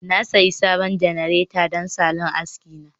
Na sayi sabon janareta don salon aski na